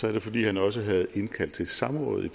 er det fordi han også havde indkaldt til samråd i